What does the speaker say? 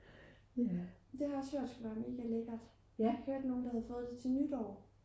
det har jeg også hørt skulle være mega lækkert jeg har hørt nogen der havde fået det til nytår